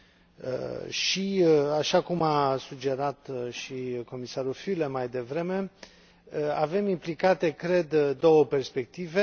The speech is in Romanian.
Așa cum a sugerat și comisarul Füle mai devreme, avem implicate, cred, două perspective.